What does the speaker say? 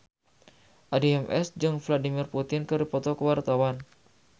Addie MS jeung Vladimir Putin keur dipoto ku wartawan